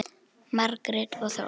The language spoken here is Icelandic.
Margrét og Þór.